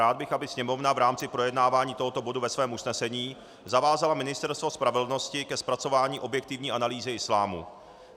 Rád bych, aby Sněmovna v rámci projednávání tohoto bodu ve svém usnesení zavázala Ministerstvo spravedlnosti ke zpracování objektivní analýzy islámu.